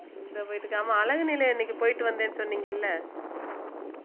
இந்த ஆமா அழகு நிலையம் அன்னைக்கு போயிட்டு வந்தேன்னு சொன்னீங்கல்ல